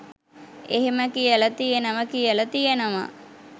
එහෙම කියල තියනවා කියල තියනවා.